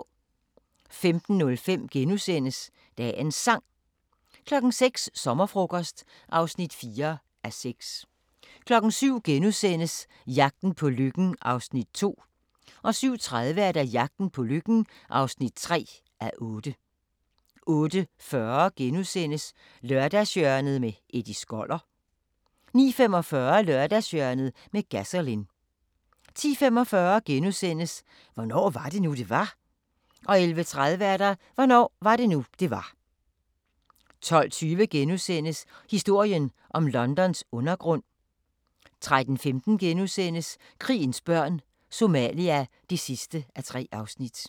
05:05: Dagens Sang * 06:00: Sommerfrokost (4:6) 07:00: Jagten på lykken (2:8)* 07:30: Jagten på lykken (3:8) 08:40: Lørdagshjørnet - Eddie Skoller * 09:45: Lørdagshjørnet med Gasolin 10:45: Hvornår var det nu, det var? * 11:30: Hvornår var det nu det var 12:20: Historien om Londons undergrund * 13:15: Krigens børn – Somalia (3:3)*